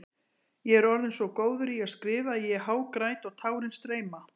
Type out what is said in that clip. Ég er orðinn svo góður í að skrifa að ég hágræt og tárin streyma.